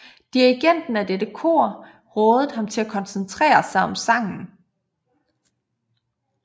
Dirigenten af dette kor rådede ham til at koncentrere sig om sangen